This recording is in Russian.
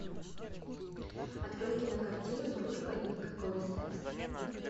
открой кинокартину дружба и никакого секса